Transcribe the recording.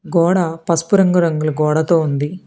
గోడ పసుపు రంగు రంగుల గోడతో ఉంది.